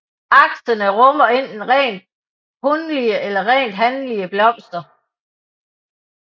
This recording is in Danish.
Aksene rummer enten rent hunlige eller rent hanlige blomster